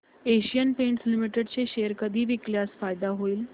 Asian Paints Limited चे share कधी विकल्यास फायदा होईल